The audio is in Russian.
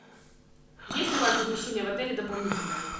есть ли у вас размещение в отеле дополнительное